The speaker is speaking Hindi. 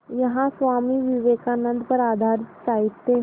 यहाँ स्वामी विवेकानंद पर आधारित साहित्य